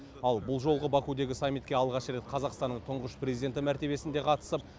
ал бұл жолы бакудегі саммитке алғаш рет қазақстанның тұңғыш президенті мәртебесінде қатысып